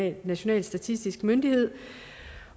en national statistisk myndighed